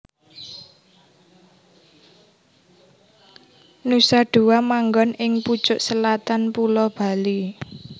Nusa Dua manggon ing pucuk selatan Pulo Bali